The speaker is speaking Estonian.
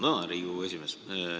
Tänan, Riigikogu esimees!